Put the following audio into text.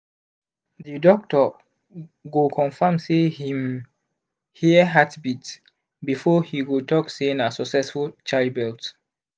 the doctor go confirm say him hear hearbeat before he go talk say na succesful childbirth